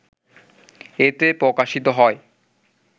এতে প্রকাশিত হয়।